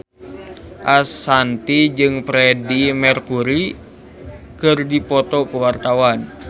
Ashanti jeung Freedie Mercury keur dipoto ku wartawan